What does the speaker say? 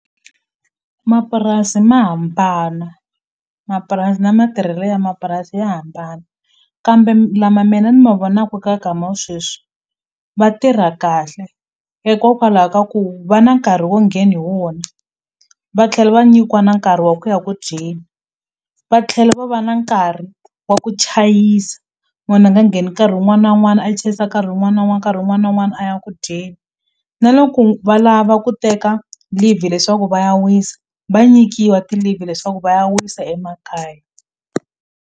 Mapurasi ma hambana mapurasi na matirhelo ya mapurasi ya hambana kambe lama mina ni ma vonaku ka wa sweswi va tirha kahle hikokwalaho ka ku va na nkarhi wo nghena hi wona va tlhela va nyikiwa na nkarhi wa ku ya ku dyeni va tlhela va va na nkarhi wa ku chayisa munhu a nga ngheni nkarhi wun'wana na wun'wana a chayisa nkarhi wun'wana na wun'wana nkarhi wun'wana na wun'wana a ya ku dyeni na loko va lava ku teka leave leswaku va ya wisa va nyikiwa ti-leave leswaku va ya wisa emakaya.